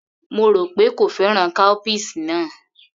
Mo rò pé kò fẹ́ràn cowpeas náà